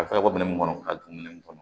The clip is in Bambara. A fɔra ko minɛn mun kɔnɔ ka don ne nin kɔnɔ